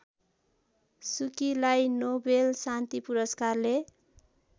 सुकीलाई नोबेल शान्ति पुरस्कारले